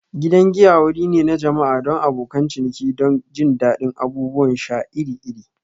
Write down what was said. Gidan giya wuri ne na jama'a don abokan ciniki don jin daɗin abubuwan sha iri-iri.